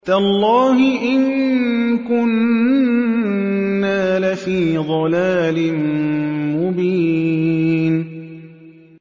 تَاللَّهِ إِن كُنَّا لَفِي ضَلَالٍ مُّبِينٍ